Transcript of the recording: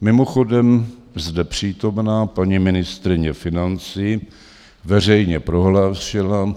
Mimochodem, zde přítomná paní ministryně financí veřejně prohlásila,